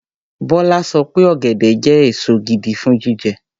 Bọ́lá sọ pé ọ̀gẹ̀dẹ̀ jẹ́ èso gidi fún jíjẹ.